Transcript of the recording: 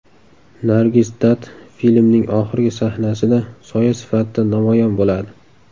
Nargis Datt filmning oxirgi sahnasida soya sifatida namoyon bo‘ladi.